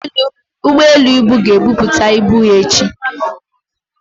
ugboelu ibu ga-ebupata ibu ha echi.